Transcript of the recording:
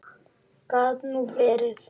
Gat nú verið!